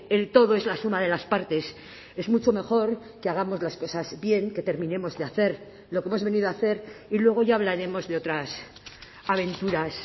el todo es la suma de las partes es mucho mejor que hagamos las cosas bien que terminemos de hacer lo que hemos venido a hacer y luego ya hablaremos de otras aventuras